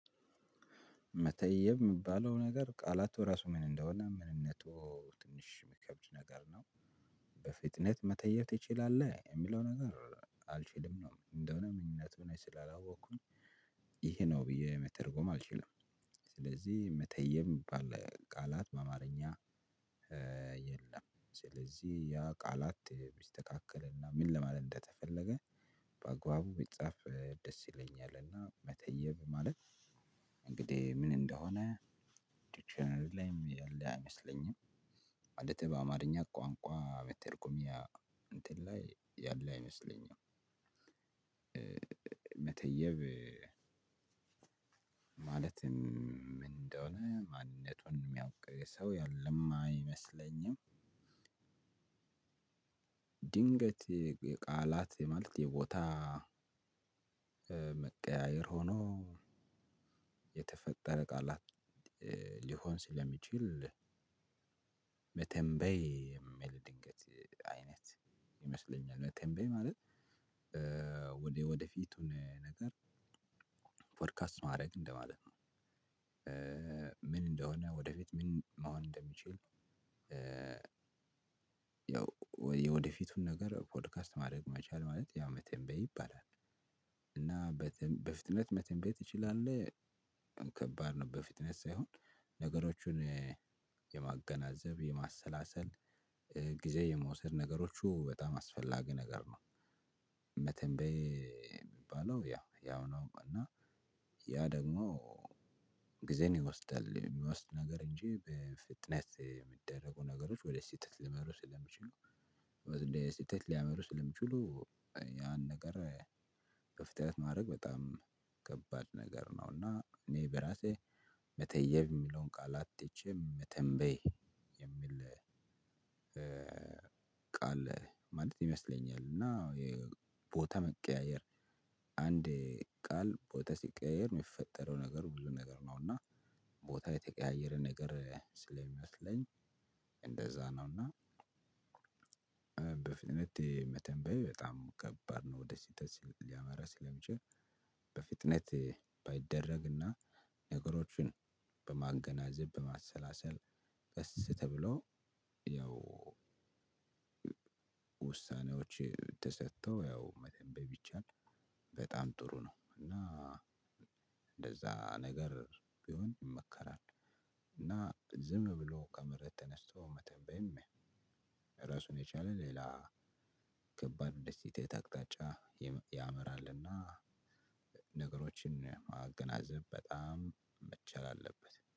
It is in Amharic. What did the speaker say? መተየብ የምባለው ነገር ቃላቱ ራሱ ምን እንደሆነ ምንነቱ ትንሽ የሚከብድ ነገር ነው። በፍጥነት መተየብ ትችላለህ የሚለው ነገር አልችልም ነው እንደሆነ ምንነቱን ስላላወቅኩኝ ይሄ ነው ብዬ መተርጎም አልችልም። ስለዚህ መተየብ ሚባል ቃላት በአማርኛ የ የለም። ስለዚህ ያ ቃላት ቢስተካከልና ምን ለማለት እንደተፈለገ በአግባቡ ቢጻፍ ደስ ይለኛልና። መተየብ ማለት እንግዲህ ምን እንደሆነ ዲክሽነሪ ላይም ያለ አይመስለኝም። ማለት በአማርኛ ቋንቋ መተርጎሚያ እንትን ላይ ያለ አይመስለኝም። መተየብ ማለት ምን እንደሆነ ማንነቱን የሚያውቅ ሰው ያለም አይመስለኝም። ድንገት ቃላት የማለት የቦታ መቀያየር ሆኖ የተፈጠረ ቃላት ሊሆን ስለሚችል መተንበይ የሚል ድንገት አይነት ይመስለኛል። መተንበይ ማለት ወደፊቱን ነገር ፖድካስት ማድረግ እንደማለት ነው። ምን እንደሆነ ወደፊት ምን መሆን እንደምችል ያው የወደፊቱን ነገር ፖድካስት ማድረግ መቻል ማለት ያው መተንበይ ይባላል። እና በፍጥነት መተንበይ ትችላለህ። ከባድ ነው በፊጥነት ሳይሆን ነገሮቹን የማገናዘብ የማሰላሰል ጊዜ የመውሰድ ነገሮቹ በጣም አስፈላጊ ነገር ነው። መተንበይ የሚባለው ያው ያው ነው እና ያ ደግሞ ጊዜን ይወስዳል የሚወስድ ነገር እንጂ በፊጥነት የሚደረጉ ነገሮች ወደ ስህተት ሊመሩ ስለሚችሉ ወደ ስህተት ሊያመሩ ስለሚችሉ ያን ነገር። ክፍተት ማድረግ በጣም ከባድ ነገር ነው። እና እኔ በራሴ መተየብ የሚለውን ቃላት ትቼ መተንበይ የሚል ቃል ማለት ይመስለኛል። እና የቦታ መቀያየር አንድ ቃል ቦታ ሲቀያየር የሚፈጠረው ነገር ብዙ ነገር ነው እና ቦታ የተቀያየረ ነገር ስለሚመስለኝ እንደዛ ነውና። በፍጥነት መተንበይ በጣም ከባድ ነው ወደ ስተት ሊያመራ ሲለሚችል በፊጥነት ባይደረግና ነገሮችን በማገናዘብ በማሰላሰል ቀስ ተብሎ ያው ውሳኔዎች ተሰጥተው ያው መተንበይ ቢቻል በጣም ጥሩ ነው። እና እንደዛ ነገር ቢሆን ይመከራል። እና ዝም ብሎ ከመሬት ተነስቶ መተንበይም ራሱን የቻለ ሌላ ከባድ የስህተት አቅጣጫ ያመራልና። ነገሮችን ማገናዘብ በጣም መቻል አለበት